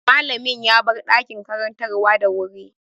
Mallamin ya bar ɗakin karantarwa da wuri.